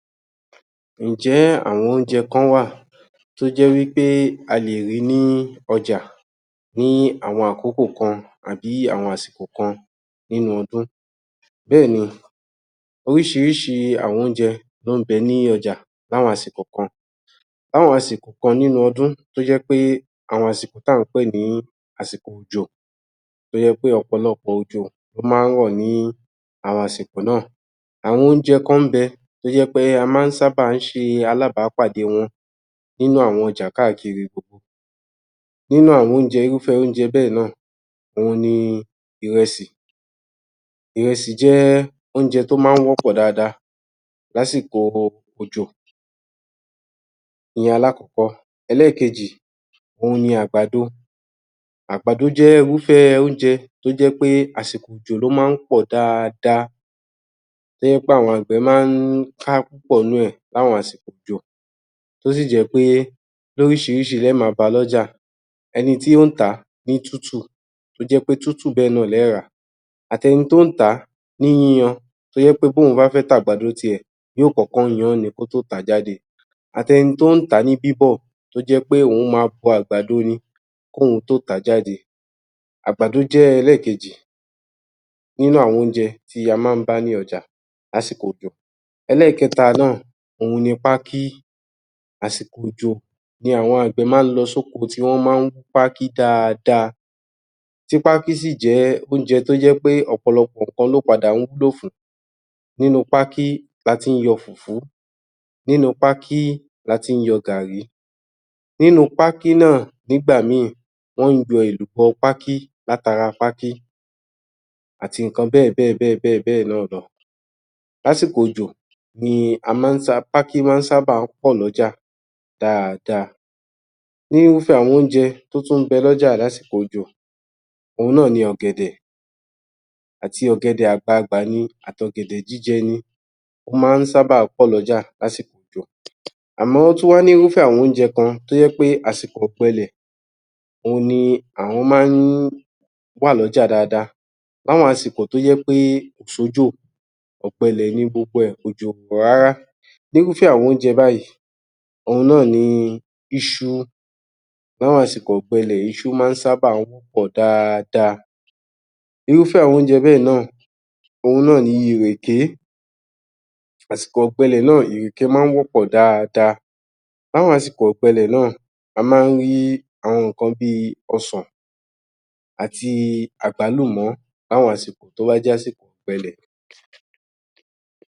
Ǹjẹ́ àwọn óúnjẹ kán wà tó jẹ́ wí pé a lè rí i ní ọjà ní àwọn àkókò kan àbí ní àsìkò kan nínú ọdún? Bẹ́ẹ̀ni, oríṣiríṣi àwọn óúnjẹ ló ń bẹ ní àwọn àsìkò kan. L’áwọn àsìkò kan nínú ọdún tó jẹ́ pé àwọn àsìkò tá a ń pè ní àsìkò òjò tó jé pé ọ̀pọ̀lọpọ̀ òjò ló má ń rọ̀ ní àwọn àsìkò náà. Àwọn óúnjẹ kan ńbẹ tó jẹ́ pé a má ń sábà ń ṣe alábápàdé wọn nínú àwọn ọjà wa gbogbo. Nínú àwọn irúfẹ́ óúnjẹ bẹ́ẹ̀ náà ni ìrẹsì, ìrẹsì jẹ́ óúnjẹ tí ó má ń wọ́pọ̀ dáadáa l’ásìkò òjò, ìyẹn alákọ́kọ́. Ẹlẹ́ẹ̀kejì òhun náà ni àgbàdo, àgbàdo jẹ́ irúfẹ́ óúnjẹ tó jẹ́ pé àsìkò òjò ló má ń pọ̀ dáadáa, tó jẹ́ pé àwọn àgbẹ̀ má ń ká púpọ̀ nínú ẹ̀ l’áwọn àsìkò òjò tó sì jẹ́ pé l’óríṣiríṣi le ẹ́ máa bá a l’ọ́jà, ẹni tí ó ń tà á ní tútù tó jẹ́ pé tútù bẹ́ẹ̀ náà le ẹ́ rà á, àtẹni tó ń tà á ní yíyan tó jẹ́ pé b’óun bá fẹ́ t’àgbàdo ti ẹ̀, yóó kọ́kọ́ yan-án ni kó tó tà á jáde, àtẹni tó ń tà á ní bíbọ̀, tó jẹ́ pé òun máa bọ àgbàdo ni k’óun tó tà á jáde. Àgbàdo jẹ́ ẹlẹ́ẹ̀kejì nínú àwọn óúnjẹ tí a má ń bá ní ọjà l’ásìkò òjò. Ẹlẹ́ẹ̀keta náà òhun ni pákí. Àsìkò òjò ni àwọn àgbẹ̀ má ń lọ s’óko tí wọ́n má ń wú pákí dáadáa, tí pákí sì jẹ́ óúnjẹ tó jẹ́ pé ọ̀pọ̀lọpọ̀ ǹkan ló padà ń wúlò fún: nínú pákí la ti ń yọ fùfú, nínú pákí la ti ń yọ gààrí, nínú pákí náà nígbà míì, wọ́n ń yọ èlùbọ́ pákí látara pákí àti ǹkan bẹ́ẹ̀ bẹ́ẹ̀ bẹ́ẹ̀ bẹ́ẹ̀ náà lọ. L’ásìkò òjò ni a má ń ní pákí má ń ṣábà pọ̀ l’ọ́jà dáadáa. Irúfẹ́ aẁọn óúnjẹ tó tún ń bẹ l’ọ́jà lásìkò òjò òhun náà ni ọ̀gẹ̀dẹ̀ àti ọ̀gẹ̀dè àgbagbà ni àti ọ̀gẹ̀dẹ̀ jíjẹ ni, ó má ń sábà pọ̀ l’ọ́jà lásìkò òjò. Àmọ́ ó tún wá ní irúfẹ́ àwọn óúnjẹ kan tó jẹ́ pé àsìkò ọ̀gbẹlè ohun ni àwọn má ń wà l’ọ́jà dáadáa. L’àwọn àsìkò tó jẹ́ pé kò sójò, ògbẹlẹ̀ ni gbogbo ẹ̀, òjò ò rọ̀ rárá. N’írúfẹ́ àwọn óúnjẹ báyìí òhun náà ni iṣu, l’áwọn àsìkò ọ̀gbẹlẹ̀ iṣu má ń sábà wọ́pọ̀ dáadáa. Irúfẹ́ àwọn óúnjẹ bẹ́ẹ̀ náà òhun náà ni ìrèké, àsìkò ọ̀gbẹlẹ̀ náà ìrèké má ń wọ́pọ̀ dáadáa. L’àwọn àsìkò ọ̀gbẹlẹ̀ náà, a má ń rí àwọn ǹkan bí i ọsàn àti àgbálùmọ́ l’áwọn àsìkò tó bá j’ásìkò ọ̀gbẹlẹ̀